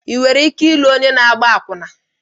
Ị nwere ike ịlụ onye na-agba akwụna?